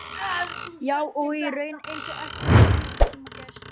Já, og í raun eins og ekkert hafi nokkurntíma gerst.